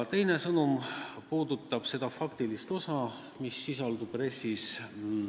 Teine sõnum puudutab seda faktilist osa, mis RES-is sisaldub.